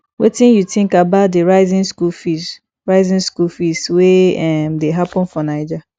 wetin you think about di rising school fees rising school fees wey um dey happen for naija